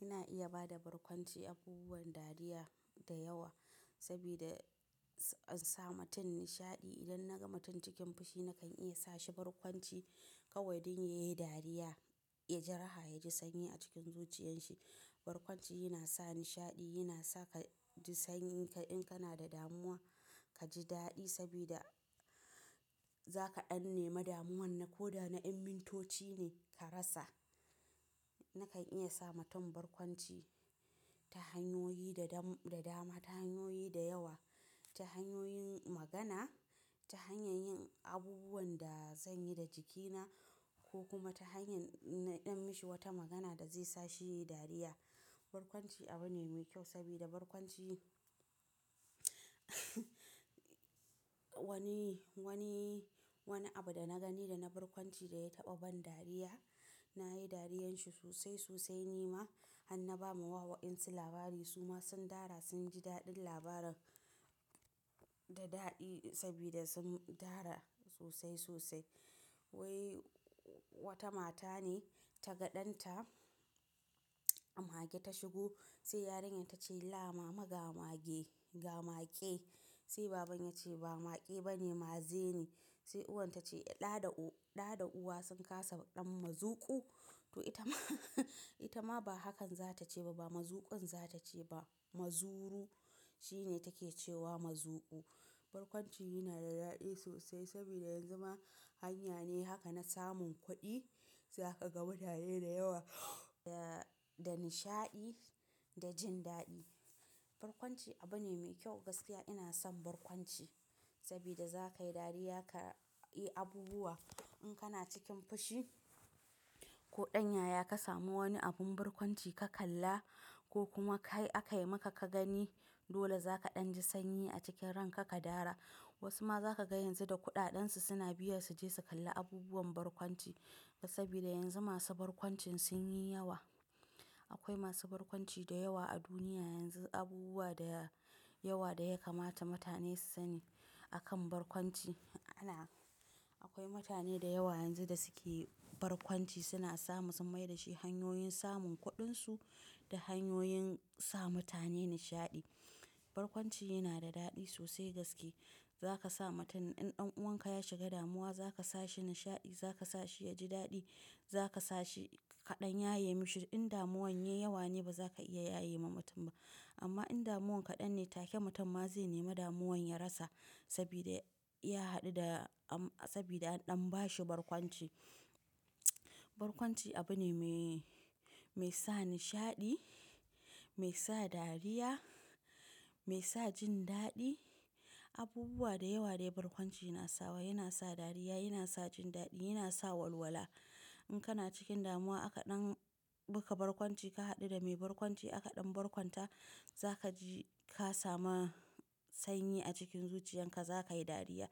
Ina iya ba da barkwanci abubuwan dariya da yawa sabida in sa mutum nishaɗi. Idan na ga mutum cikin fushi nakan iya sa shi barkwanci kawai don ya yi dariya, ya ji raha, ya ji sanyi a cikin zuciyan shi. Barkwanci yana sa nishaɗi, yana sa ka ji sanyi. In kana da damuwa, ka ji daɗi saboda za ka ɗanne damuwan na ko da na mintoci ne ka rasa. Nakan iya sa mutum barkwanci ta hanyoyi da dama, ta hanyoyi da yawa, ta hanyoyin magana, ta hanyar yin abubuwan da zan yi da jikina ko kuma ta hanyar in ɗan mishi wata magana da zai sa shi dariya. Barkwanci abu ne mai kyau saboda barkwanci, wani, wani, wani abu da na gani da na barkwanci da ya taɓa ban dariya, na yi dariyar shi sosai, sosai ni ma har na ba ma wa waƙinsa labari. Su ma sun dara, sun ji daɗin labaran da daɗi saboda sun dara sosai, sosai. Wai wata mata ne ta ga ɗanta mage ta shigo, sai yarinyar ta ce, "La mama ga mage, ga make." Sai baban ya ce, "ba make ba ne, maze ne." Sai uwan ta ce, "Ɗa da u-- ɗa da uwa sun kasa ɗan mazuƙu?" To ita ma, ita ma ba hakan za ta ce ba, ba mazuƙu za ta ce ba, mazuru shine take cewa mazuƙu. Barkwanci yana da daɗi sosai saboda yanzu ma hanya ne haka na samun kuɗi. Za ka ga mutane da yawa da, da nishaɗi da jin daɗi. Barkwanci abu ne mai kyau, gaskiya ina son barkwanci saboda za ka yi dariya, ka yi abubuwa in kana cikin fushi ko ɗan yaya ka samu wani abun barkwanci ka kalla ko kuma kai aka yi maka ka gani. Dole za ka ɗan ji sanyi a cikin ran ka ka dara. Wasu ma za ka ga yanzu da kuɗaɗen su suna biya su je su kalla abubuwan barkwanci saboda yanzu masu barkwancin sun yi yawa. Akwai masu barkwanci da yawa a duniya yanzu, abubuwa da yawa da ya kamata mutane su sani a kan barkwanci. Ana-- akwai mutane da yawa yanzu da suke barkwanci, suna samu sun mai da shi hanyoyin samun kuɗin su da hanyoyin sa mutane nishaɗi. Barkwanci yana da daɗi sosai gaske. Za ka sa mutum in ɗan uwanka ya shiga damuwa, za ka sa shi nishaɗi, za ka sa shi ya ji daɗi, za ka sa shi ka ɗan yaye mishi. In damuwan ya yi yawa ne, ba za ka iya yaye ma mutum ba. Amma in damuwan kaɗan ne, take mutum ma zai nema damuwan ya rasa saboda ya haɗu da am-- saboda an ɗan ba shi barkwanci. Barkwanci abu ne mai, mai sa nishaɗi, mai sa dariya, mai sa jin daɗi. Abubuwa da yawa ne barkwanci yana sawa. Yana sa dariya, yana sa jin daɗi, yana sa walwala. In kana cikin damuwa aka ɗan baka barkwanci, ka haɗu da mai barkwanci aka ɗan barkwanta, za ka ji ka samu sanyi a cikin zuciyan ka, za ka yi dariya.